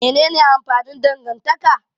Menene amfanin dangantaka?